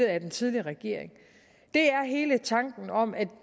af den tidligere regering er hele tanken om at